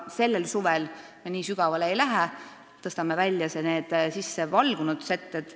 Sellel suvel me nii sügavale ei lähe, tõstame välja sissevalgunud setted.